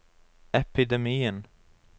epidemien